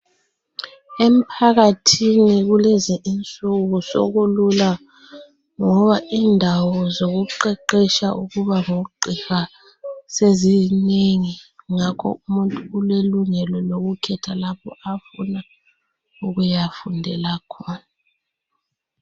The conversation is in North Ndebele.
Emphakathini kulezi insuku sekulula ngoba indawo zokuqeqetsha ukuba ngugqiha sezinengi ngakho umuntu ulelungelo lokukhetha lapho afuna ukuyafundela khona.